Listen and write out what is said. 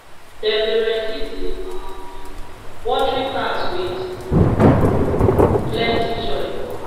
dem dey ready the um watering cans with plenty joy